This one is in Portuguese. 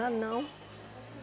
Ah, não.